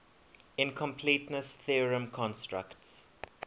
incompleteness theorem constructs